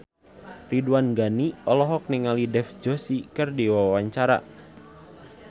Ridwan Ghani olohok ningali Dev Joshi keur diwawancara